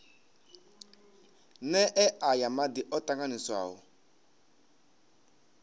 nee aya madi o tanganyiswaho